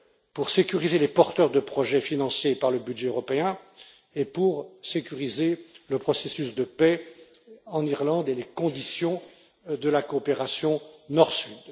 pour sécuriser les porteurs de projets financés par le budget européen et pour sécuriser le processus de paix en Irlande et les conditions de la coopération Nord Sud.